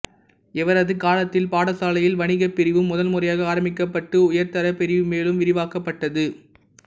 இவரது காலத்தில் பாடசாலையில் வணிகப்பிரிவும் முதன் முறையாக ஆரம்பிக்கப்பட்டு உயர்தரப் பிரிவு மேலும் விரிவாக்கப்பட்டது